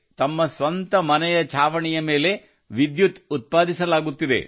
ತಮ್ಮ ಸ್ವಂತ ಮನೆಯ ಛಾವಣಿಯ ಮೇಲೆ ವಿದ್ಯುತ್ ಉತ್ಪಾದಿಸಲಾಗುತ್ತಿದೆ